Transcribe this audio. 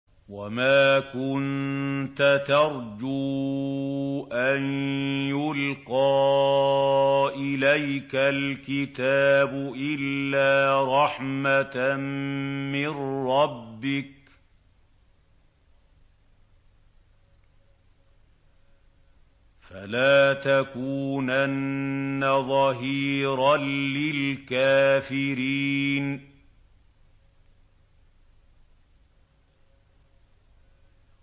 وَمَا كُنتَ تَرْجُو أَن يُلْقَىٰ إِلَيْكَ الْكِتَابُ إِلَّا رَحْمَةً مِّن رَّبِّكَ ۖ فَلَا تَكُونَنَّ ظَهِيرًا لِّلْكَافِرِينَ